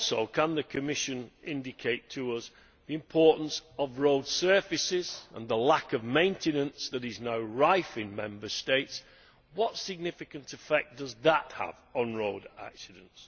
Can the Commission also indicate to us the importance of road surfaces and the lack of maintenance that is now rife in Member States, and what significant effect that has on road accidents?